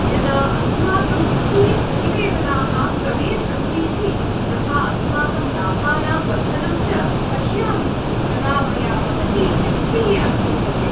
यदा अस्माकं वित्तीयप्रतिवेदनाः क्रमे सन्तीति, तथा अस्माकं लाभानां वर्धनं च पश्यामि, तदा मया महती सिद्धिः अनुभूयते।